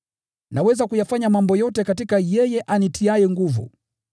Naweza kuyafanya mambo yote katika yeye anitiaye nguvu.